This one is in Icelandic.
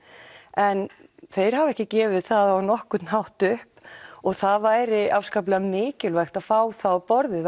en þeir hafa ekki gefið það á nokkurn hátt upp og það væri afskaplega mikilvægt að fá þá á borðið